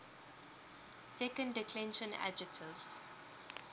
second declension adjectives